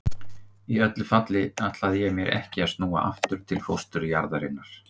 Í öllu falli ætlaði ég mér ekki að snúa aftur til fósturjarðarinnar.